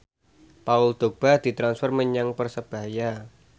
Paul Dogba ditransfer menyang Persebaya